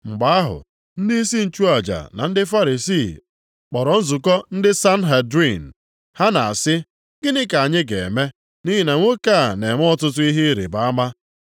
Mgbe ahụ, ndịisi nchụaja na ndị Farisii kpọrọ nzukọ ndị Sanhedrin. Ha na-asị, “Gịnị ka anyị ga-eme? Nʼihi na nwoke a na-eme ọtụtụ ihe ịrịbama.